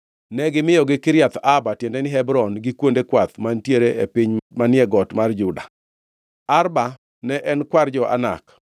Ne gimiyogi Kiriath Arba (tiende ni, Hebron), gi kuonde kwath, mantiere e piny manie got mar Juda. Arba ne en kwar jo-Anak.